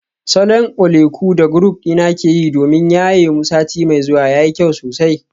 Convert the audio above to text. Salon oleku da group dina ke yi domin yaye mu sati mai zuwa yayi kyau sosai.